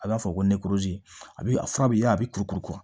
A b'a fɔ ko a bɛ a fura bɛ yaala a bɛ kurukuru